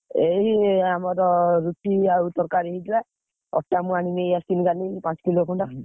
ଏଇ ଆମର ରୁଟି ଆଉ ତରକାରୀ ହେଇଥିଲା, ଅଟା ମୁଁ ଆଣି ନେଇ ଆସିଥିଲି କାଲି ପାଞ୍ଚ kilo ଖଣ୍ଡ।